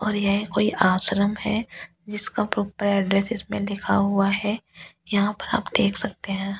और यह कोई आश्रम है जिसका प्रॉपर एड्रेस इसमें लिखा हुआ है यहां पे आप देख सकते हैं।